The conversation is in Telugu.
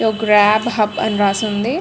గ్రబ్ హబ్ అని రాసి ఉంది.